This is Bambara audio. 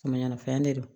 Mɛ ɲanafɛn de don